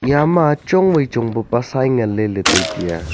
Yama chong wai chong pa pa sai nganley ley tai taiya.